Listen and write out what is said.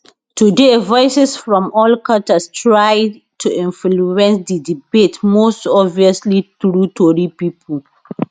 today voices from all quarters try to influence di debate most obviously through tori pipo